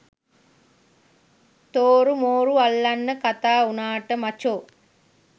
තෝරු මෝරු අල්ලන්න කතා උනාට මචෝ